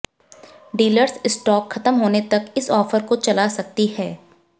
dealers stock खत्म होने तक इस ऑफर को चला सकती है